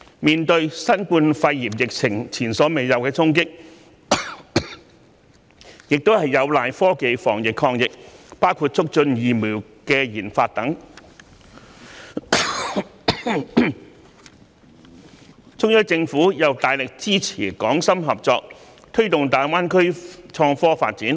面對新冠肺炎疫情前所未有的衝擊，我們有賴科技進行防疫抗疫，包括促進疫苗研發等，中央政府亦因而大力支持港深合作，推動大灣區的創科發展。